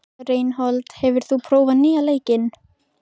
Reinhold, hefur þú prófað nýja leikinn?